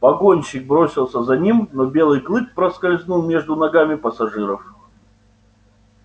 погонщик бросился за ним но белый клык проскользнул между ногами пассажиров